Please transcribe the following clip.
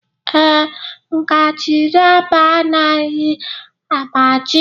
ee, ngaji rọba agaghị agbaji.